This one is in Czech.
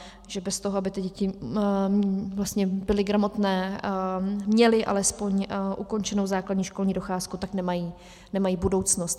Že bez toho, aby ty děti byly gramotné, měly alespoň ukončenou základní školní docházku, tak nemají budoucnost.